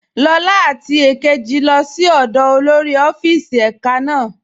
Lọla àti èkéjì lọ sí ọ̀dọ́ olórí ọ̀fíìsì èká náà.